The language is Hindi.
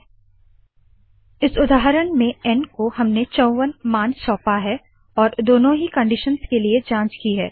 हमने इस उदाहरण में एन को चौवन मान सौंपा है और दोनों ही कनडीशंस के लिए जांच की है